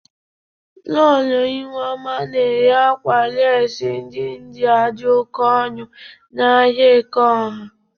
Lọlọ Ihuoma na-ere akwa lesi ndị Ịndịa dị oke ọnụ n'ahia Ekeọha.